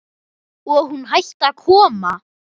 Og hún hætti að koma.